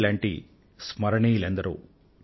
ఇటువంటి పేర్లతో ఒక పెద్ద పట్టికే అవుతుంది